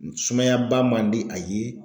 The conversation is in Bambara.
Sumayaba man di a ye